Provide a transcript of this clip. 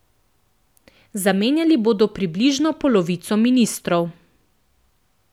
Zamenjali bodo približno polovico ministrov.